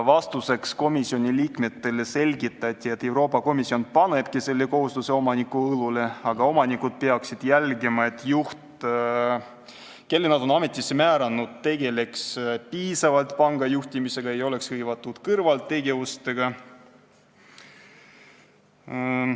Vastuseks selgitati komisjoni liikmetele, et Euroopa Komisjon panebki selle kohustuse omanike õlule, aga omanikud peaksid jälgima, et juht, kelle nad on ametisse määranud, tegeleks piisavalt panga juhtimisega ja ei oleks hõivatud kõrvaltegevustega.